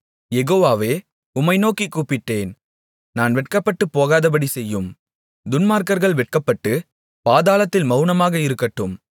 யெகோவாவே உம்மை நோக்கிக் கூப்பிட்டேன் நான் வெட்கப்பட்டுப்போகாதபடி செய்யும் துன்மார்க்கர்கள் வெட்கப்பட்டுப் பாதாளத்தில் மவுனமாக இருக்கட்டும்